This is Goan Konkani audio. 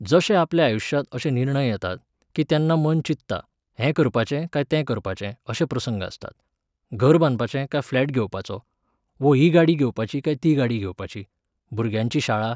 जशे आपल्या आयुश्यांत अशे निर्णय येतात, कीं तेन्ना मन चित्ता, हें करपाचें काय तें करपाचें अशे प्रसंग आसतात, घर बांदपाचें काय फ्लॅट घेवपाचो, वो ही गाडी घेवपाची काय ती गाडी घेवपाची, भुरग्यांची शाळा